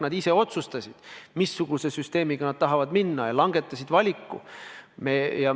Nad ise otsustasid, missuguse süsteemi kohaselt nad tahavad edasi minna, ja langetasid valiku.